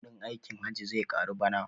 Kuɗin aikin hajji zai karu bana